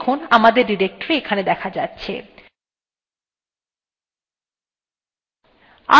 দেখুন আমাদের directory এখানে দেখা যাচ্ছে